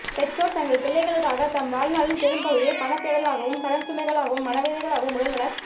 பெற்றோர் தங்கள் பிள்ளைகளுக்காக தம் வாழ்நாளின் பெரும்பகுதியை பணத் தேடலாகவும் கடன் சுமைகளாகவும் மனவேதனைகளாகவும் உடல் நலக்